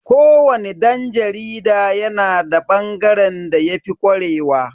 Ko wani dan jarida yana da bangaren da yafi kwarewa.